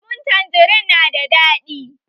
lemu tanjerin na da daɗi